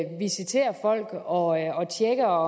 visiterer folk og tjekker